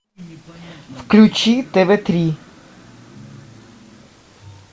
включи тв три